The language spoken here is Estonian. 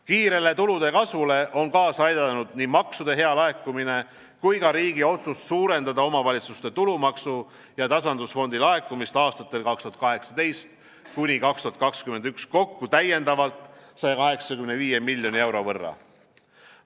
Kiirele tulude kasvule on kaasa aidanud nii maksude hea laekumine kui ka riigi otsus suurendada omavalitsuste tulumaksu ja tasandusfondi laekumist aastatel 2018–2021 kokku täiendavalt 185 miljoni euro võrra.